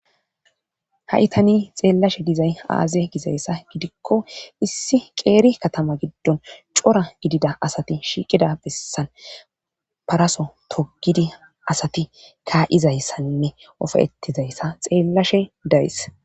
Haitani xeellashe dizay aaze gizayssa gidikko issi qeeri katama giddon cora gidida asati shiiqida bessan paraso togidi asati kaa'izayssainne ofaetizayssa xeellashe dayis.